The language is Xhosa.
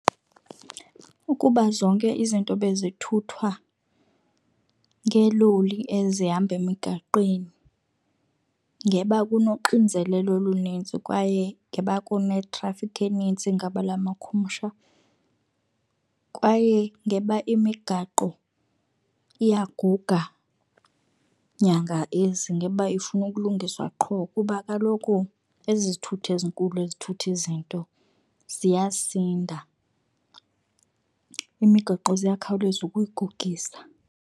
Ukuba zonke izinto bezithuthwa ngeeloli ezihamba emigaqweni ngeba kunoxinzelelo olunintsi kwaye ngeba kunethrafikhi enintsi ngabula makhumsha, kwaye ngeba imigaqo iyaguga nyanga ezi. Ngeba ifuna ukulungiswa qho kuba kaloku ezi zithuthi ezinkulu ezithutha izinto ziyasinda, imigaqo ziyakhawuleza ukuyigugisa.